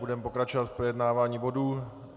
Budeme pokračovat v projednávání bodů.